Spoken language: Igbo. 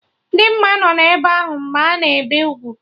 Dimma nọ ebe ahụ mgbe a na-ebe ugwu